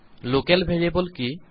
local variable কি